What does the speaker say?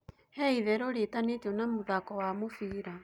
he ĩtherũ riitanitio na muthako wa mubira